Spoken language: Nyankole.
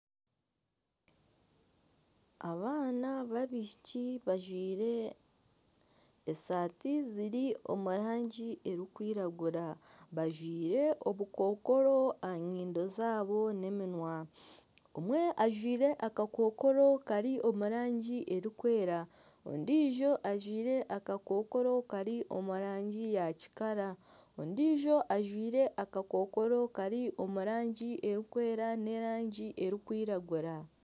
Abaana babishiki bajwire esati ziri omurangi erikwiragura. Bajwire obukokoro aha nyindo zaabo n'eminwa. Omwe ajwire akakokoro Kari omurangi erikwera, ondijo ajwire akakokoro Kari omu rangi ya kikara, ondijo ajwire akakokoro Kari omurangi erikwera n'erangi erikwiragura.